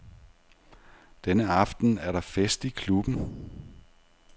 Denne aften er der fest i klubben.